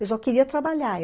Eu só queria trabalhar.